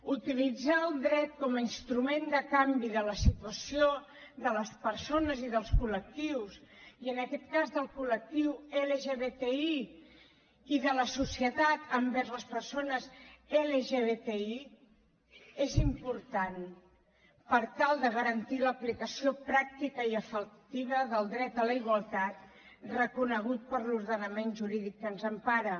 utilitzar el dret com a instrument de canvi de la situació de les persones i dels col·aquest cas del col·lectiu lgbti i de la societat envers les persones lgbti és important per tal de garantir l’aplicació pràctica i efectiva del dret a la igualtat reconegut per l’ordenament jurídic que ens empara